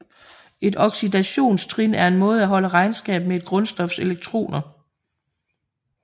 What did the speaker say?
Et oxidationstrin er en måde at holde regnskab med et grundstofs elektroner